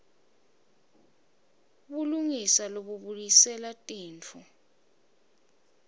bulungisa lobubuyisela tintfo